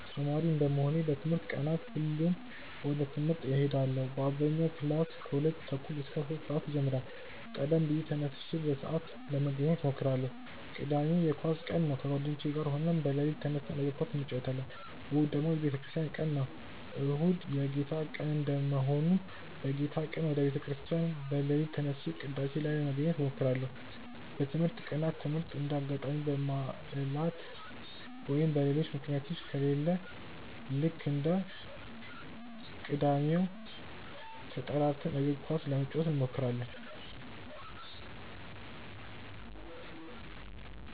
ተማሪ እንደመሆኔ በትምህርት ቀናት ሁሌም ወደ ትምህርት እሄዳለው በአብዛኛው ክላስ ከሁለት ተኩል እስከ ሶስት ሰአት ይጀምራል ቀደም ብዬ ተነስቼ በሰአት ለመገኘት እሞክራለው። ቅዳሜ የኳስ ቀን ነው ከጓደኞቼ ጋር ሆነን በሌሊት ተነስተን የእግር ኳስ እንጨወታለን። እሁድ ደግሞ የቤተክርስቲያን ቀን ነው። እሁድ የጌታ ቀን እንደመሆኑ በጌታ ቀን ወደ ቤተ ክርስቲያን በሌሊት ተነስቼ ቅዳሴ ላይ ለመገኘት እሞክራለው። በትምህርት ቀናት ትምህርት እንደ አጋጣሚ በባዕላት ወይም በሌሎች ምክንያቶች ከሌለ ልክ እንደ ቅዳሜው ተጠራርተን እግር ኳስ ለመጫወት እንሞክራለው።